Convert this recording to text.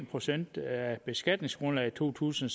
procent af beskatningsgrundlaget i to tusind